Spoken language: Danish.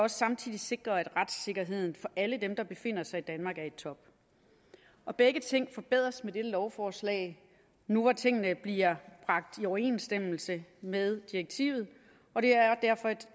samtidig sikre at retssikkerheden for alle dem der befinder sig i danmark er i top begge ting forbedres med dette lovforslag nu hvor tingene bliver bragt i overensstemmelse med direktivet og det er derfor et